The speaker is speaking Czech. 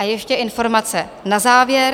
A ještě informace na závěr.